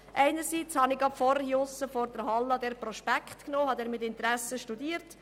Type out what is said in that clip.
Einerseits habe ich soeben draussen in der Halle diesen Prospekt genommen und ihn mit Interesse studiert.